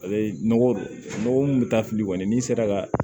Ale nɔgɔ mun bɛ taa fili kɔni n'i sera ka